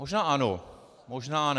Možná ano, možná ne.